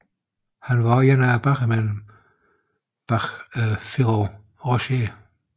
Han var også en af bagmændene bag Ferrero Rocher